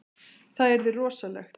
Það yrði rosalegt.